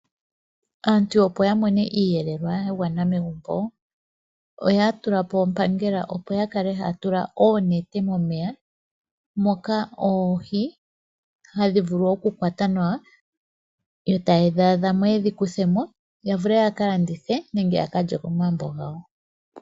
Aantu opo yamone iiyelelwa ya gwana megumbo, oya tulapo ompangela opo yakale haya tula oonete momeya moka oohi hadhi vulu okukwatwa nawa yo tayedhi adhamo yedhi kuthemo yavule oku dhilanditha nenge ya kalye komagumbo gawo.